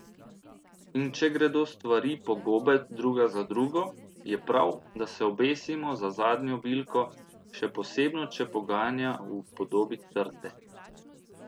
In če gredo stvari po gobe druga za drugo, je prav, da se obesimo za zadnjo bilko, še posebno če poganja v podobi trte.